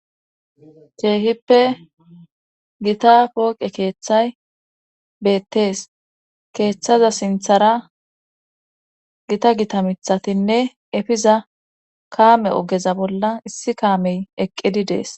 Keehippe gita pooqe keeththay beettees. keeththaza sinthara gita gita mithatinne efiza kaame ogeza bolla issi kaamey eqqidi dees.